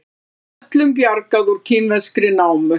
Öllum bjargað úr kínverskri námu